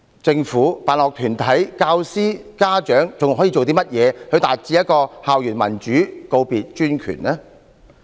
政府、辦學團體、教師、家長還可以做甚麼，以達致校園民主，告別專權？